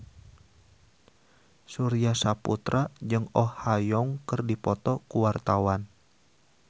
Surya Saputra jeung Oh Ha Young keur dipoto ku wartawan